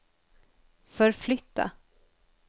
förflytta